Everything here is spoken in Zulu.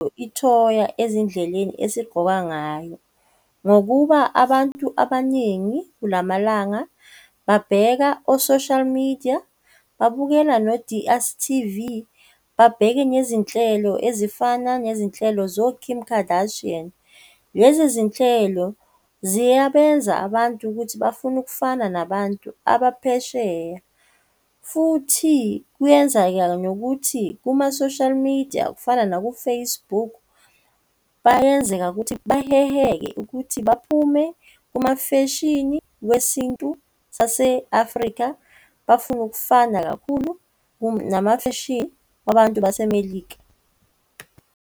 Ithonya ezindleleni esigqoka ngayo, ngokuba abantu abaningi kulamalanga babheka o-social media babukela no-D_S_T_V, babheke nezinhlelo ezifana nezinhlelo zo-Kim Kardashian. Lezi zinhlelo ziyabenza abantu ukuthi bafune ukufana nabantu abaphesheya, futhi kuyenzakala nokuthi kuma-social media kufana naku-Facebook bayenzeka ukuthi baheheke ukuthi baphume kuma feshini wesintu saseAfrika bafuna ukufana kakhulu namafeshini wabantu baseMelika.